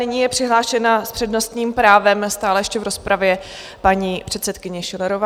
Nyní je přihlášena s přednostním právem stále ještě v rozpravě paní předsedkyně Schillerová.